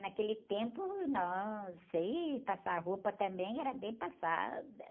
Naquele tempo, nossa, ih, passar roupa também era bem passada.